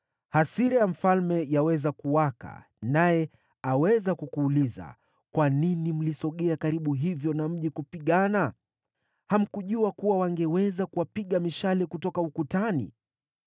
hasira ya mfalme yaweza kuwaka, naye aweza kukuuliza, ‘Kwa nini mlisogea karibu hivyo na mji kupigana? Hamkujua kuwa wangeweza kuwapiga mishale kutoka ukutani?